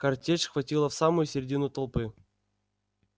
картечь хватила в самую средину толпы